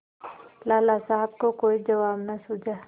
लाला साहब को कोई जवाब न सूझा